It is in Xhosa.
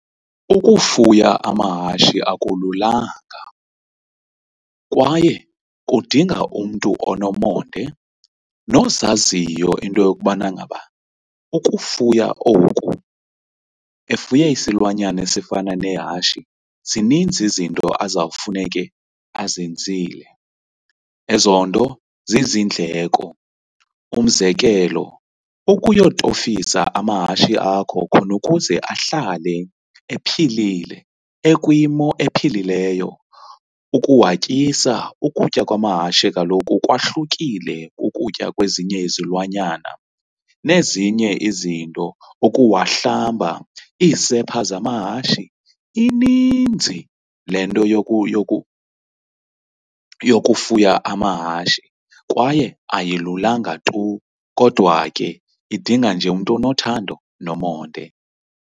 Ukufuya amahashe akululanga kwaye kudinga umntu onomonde nozaziyo into yokubana ngaba ukufuya oku efuye isilwanyana esifana nehashi zininzi izinto azawufuneke azenzile, ezo nto zizindleko. Umzekelo, ukuyotofisa amahashi akho khona ukuze ahlale ephilile, ekwimo ephilileyo, ukuwatyisa ukutya kwamahashe kaloku kwahlukile kukutya kwezinye izilwanyana nezinye izinto, ukuwahlamba iisepha zamahashe ininzi le nto yokufuya amahashi kwaye ayilulanga tu kodwa ke idinga nje umntu onothando nomonde.